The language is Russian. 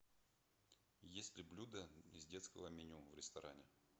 есть ли блюда из детского меню в ресторане